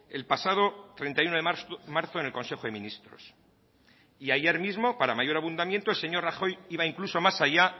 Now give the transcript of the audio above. el pasado treinta y uno de marzo en el consejo de ministros y ayer mismo para mayor abundamiento el señor rajoy iba incluso más allá